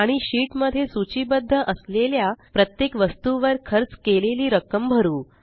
आणि शीट मध्ये सूचीबद्ध असलेल्या प्रत्येक वस्तूवर खर्च केलेली रक्कम भरू